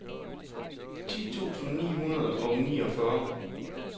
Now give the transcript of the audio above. ti tusind ni hundrede og niogfyrre